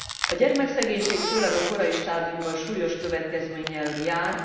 A gyermekszegénység főleg a korai stádiumban súlyos következménnyel jár.